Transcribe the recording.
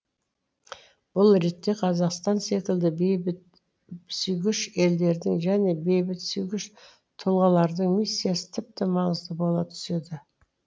бұл ретте қазақстан секілді бейбітсүйгіш елдердің және бейбітсүйгіш тұлғалардың миссиясы тіпті маңызды бола түседі